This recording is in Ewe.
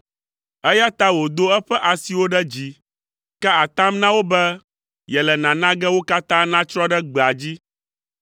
Eya ta wòdo eƒe asiwo ɖe dzi ka atam na wo be yele nana ge wo katã natsrɔ̃ ɖe gbea dzi,